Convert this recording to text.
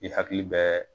I hakili bɛ